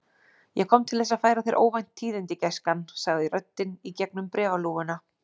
Ég kom til þess að færa þér óvænt tíðindi, gæskan sagði röddin í gegnum bréfalúguna.